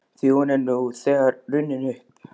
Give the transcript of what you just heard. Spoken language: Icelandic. Því hún er nú þegar runnin upp.